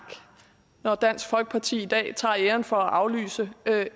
når dansk folkeparti i dag tager æren for at aflyse